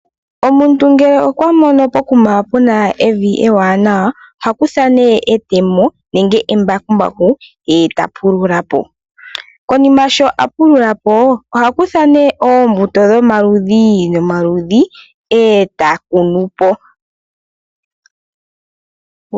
Omuntu ngele okwamono pokuma puna evi ewanawa ohakutha etemo nenge embakumbaku ye eta pulula po. Konima sho apulula po ohakutha oombuto dhomaludhi nomaludhi eta kunu po.